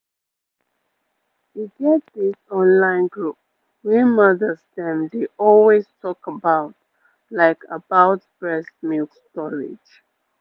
e get this online group wey mothers dem dey always talk about like about breast milk storage